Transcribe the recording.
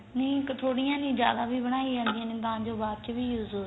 ਨੀਂ ਥੋੜੀਆਂ ਜੀ ਜਿਆਦਾ ਵੀ ਬਣਾਇਆ ਜਾਂਦੀਆਂ ਨੇ ਤਾਂ ਜੋ ਬਾਚ ਵੀ use ਹੋ ਸਕਣ